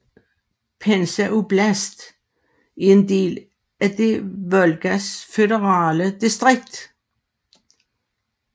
Pensa oblast er en del af det Volgas føderale distrikt